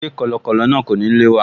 Ṣé kọ̀lọ̀kọ̀lọ̀ náà kò ní lé wa?